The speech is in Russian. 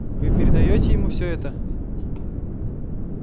вы передаёте ему все это